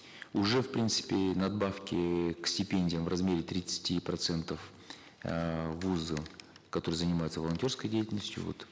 уже в принципе надбавки к стипендиям в размере тридцати процентов эээ вузы которые занимаются волонтерской деятельностью вот